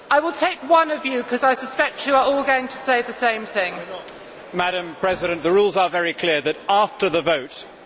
Madam President, the rules are very clear that, after the vote, every Member has the right to make an explanation of vote for up to 60 seconds.